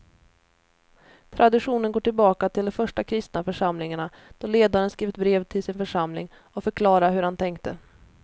Traditionen går tillbaka till de första kristna församlingarna då ledaren skrev ett brev till sin församling och förklarade hur han tänkte.